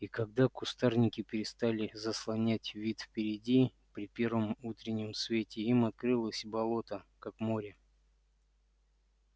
и когда кустарники перестали заслонять вид впереди при первом утреннем свете им открылось болото как море